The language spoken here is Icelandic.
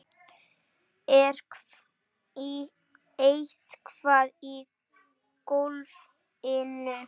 Ertu eitthvað í golfinu?